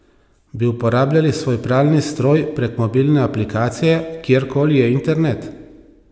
Bi uporabljali svoj pralni stroj prek mobilne aplikacije kjerkoli je internet?